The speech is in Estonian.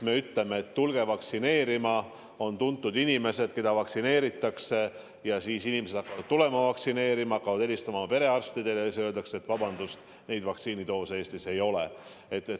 Me ei saa öelda, et tulge vaktsineerima, et on tuntud inimesed, keda vaktsineeritakse, ja siis inimesed hakkavad tulema vaktsineerima, hakkavad helistama oma perearstidele, aga neile öeldakse, et vabandust, vaktsiinidoose praegu Eestis ei ole.